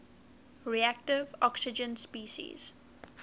reactive oxygen species